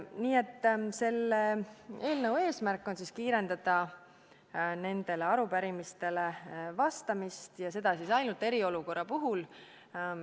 Nii et selle eelnõu eesmärk on kiirendada arupärimistele vastamist ja seda ainult eriolukorra ajal.